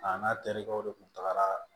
A n'a terikɛw de kun tagara